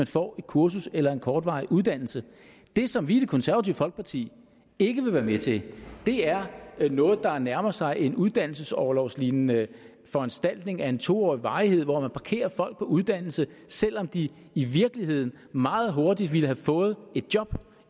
får et kursus eller en kortvarig uddannelse det som vi i det konservative folkeparti ikke vil være med til er noget der nærmer sig en uddannelsesorlovslignende foranstaltning af en to årig varighed hvor man parkerer folk på uddannelse selv om de i virkeligheden meget hurtigt ville have fået et job